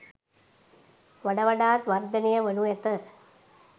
වඩ වඩාත් වර්ධනය වනු ඇත.